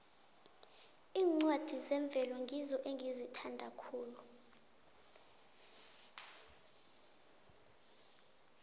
iincwadi zemvelo ngizo engizithanda khulu